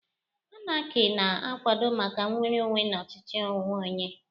Anarki na-akwado maka nnwere onwe na ọchịchị onwe onye.